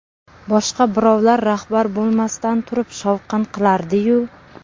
Boshqa birovlar rahbar bo‘lmasdan turib shovqin qilardi-yu.